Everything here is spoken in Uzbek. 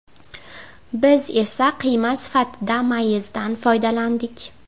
Biz esa qiyma sifatida mayizdan foydalandik.